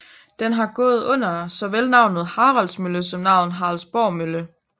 Den har gået under såvel navnet Haralds Mølle som navnet Haraldsborg Mølle